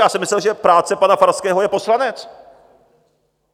Já jsem myslel, že práce pana Farského je poslanec.